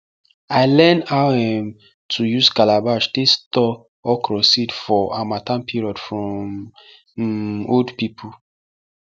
i learn how um to use calabash take store okro seed for harmattan period from um old pipo